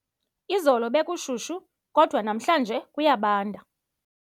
Izolo bekushushu kodwa namhlanje kuyabanda.